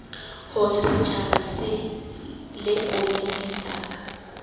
hore setjhaba se lekole ditaba